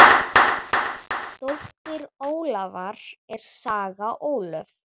Dóttir Ólafar er Saga Ólöf.